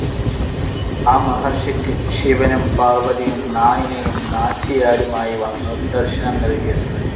ആ മഹർഷിക്ക് ശിവനും പാർവതിയും നായിനയും നാച്ചിയാരുമായി വന്നു ദർശനം നൽകിയത്രേ.